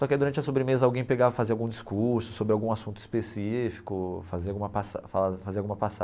Só que durante a sobremesa alguém pegava para fazer algum discurso sobre algum assunto específico, fazia alguma passa fa fazia alguma